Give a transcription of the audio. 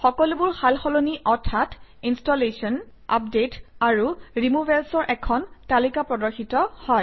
সকলোবোৰ সাল সলনি অৰ্থাৎ ইনষ্টলেশ্যন আপডেট আৰু ৰিমুভেলচৰ এখন তালিকা প্ৰদৰ্শিত হয়